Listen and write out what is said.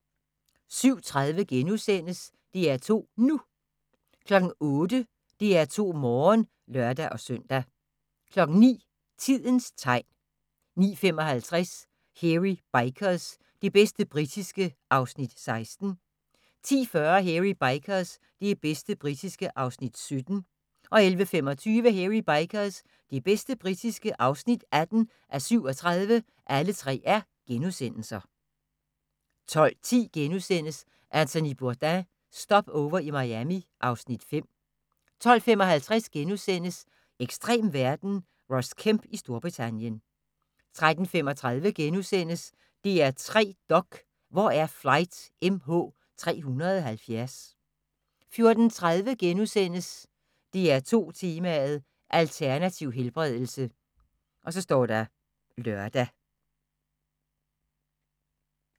07:30: DR2 NU * 08:00: DR2 Morgen (lør-søn) 09:00: Tidens tegn 09:55: Hairy Bikers – det bedste britiske (16:37)* 10:40: Hairy Bikers – det bedste britiske (17:37)* 11:25: Hairy Bikers – det bedste britiske (18:37)* 12:10: Anthony Bourdain – Stopover i Miami (Afs. 5)* 12:55: Ekstrem verden – Ross Kemp i Storbritannien * 13:35: DR3 Dok: Hvor er Flight MH370? * 14:30: DR2 Tema: Alternativ helbredelse *(lør)